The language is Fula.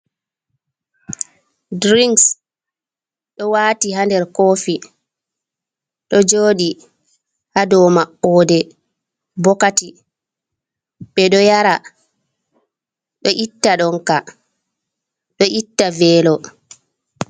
Diris ɗo wati ha nder kofi ɗo jodi ha dou mabboɗe ɓokati ɓe ɗo yara ɗo itta donka ɗo itta velo.